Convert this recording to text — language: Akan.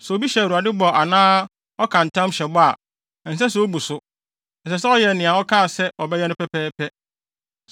Sɛ obi hyɛ Awurade bɔ anaa ɔka ntam hyɛ bɔ a, ɛnsɛ sɛ obu so. Ɛsɛ sɛ ɔyɛ nea ɔkaa se ɔbɛyɛ no pɛpɛɛpɛ.